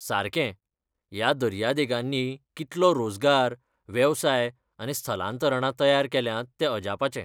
सारकें! ह्या दर्या देगांनी कितलो रोजगार, वेवसाय आनी स्थलांतरणां तयार केल्यांत तें अजापाचें.